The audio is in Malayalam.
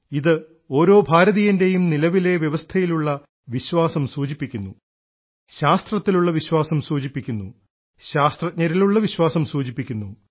ഇത് ഓരോ ഭാരതീയൻറേയും നിലവിലെ വ്യവസ്ഥയിലുള്ള വിശ്വാസം സൂചിപ്പിക്കുന്നു ശാസ്ത്രത്തിലുള്ള വിശ്വാസം സൂചിപ്പിക്കുന്നു ശാസ്ത്രജ്ഞരിലുള്ള വിശ്വാസം സൂചിപ്പിക്കുന്നു